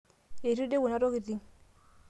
eitu eidip kuna tokiting